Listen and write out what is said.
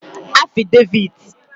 afideviti